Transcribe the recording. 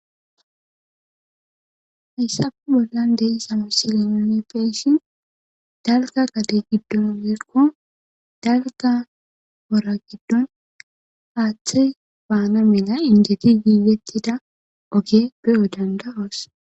Hissappe bollan de'iza misilen nuun beyshin dalgga gadde giddon merko dalgga woora giddon aaththi baana mila injje giigettida ooge be'o dandda'oos